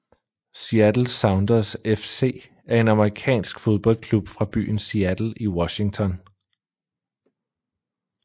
Seattle Sounders FC er en amerikansk fodboldklub fra byen Seattle i Washington